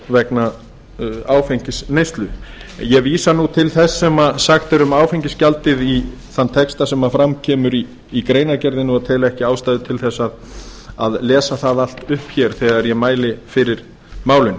vegna áfengisneyslu en ég vísa til þess sem sagt er um áfengisgjaldið í þeim texta sem fram kemur í greinargerðinni og tel ekki ástæðu til að lesa það allt upp hér þegar ég mæli fyrir málinu ég